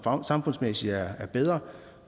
samfundsmæssigt er bedre